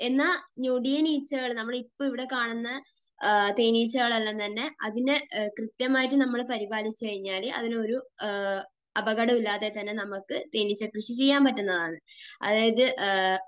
എന്നാൽ ഞൊടിയനീച്ചകൾ, നമ്മൾ ഇപ്പോൾ ഇവിടെ കാണുന്ന തേനീച്ചകളെല്ലാം തന്നെ അതിനെ കൃത്യമായി നമ്മൾ പരിപാലിച്ചു കഴിഞ്ഞാൽ അതിന് ഒരു അപകടവുമില്ലാതെ തന്നെ നമുക്ക് തേനീച്ചക്കൃഷി ചെയ്യാൻ പറ്റുന്നതാണ്. അതായത്,